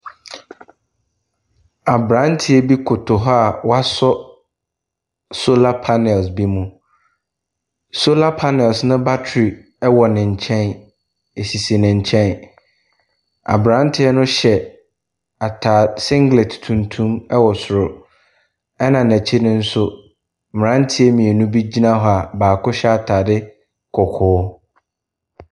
Aberanteɛ bi koyo hɔ a wasɔ solar panels bi mu. Solar panels no battery wɔ ne nkyɛn ɛsisi ne nkyɛn. Aberanteɛ no hyɛ ataa singlet tuntum wɔ soro, ɛna n'akyi no nso, mmeranteɛ mmienu bi gyina hɔ a baako hyɛ ataade kɔkɔɔ.